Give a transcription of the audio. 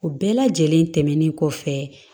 O bɛɛ lajɛlen tɛmɛnen kɔfɛ